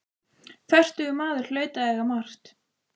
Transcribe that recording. Fertugur maður hlaut að eiga margt.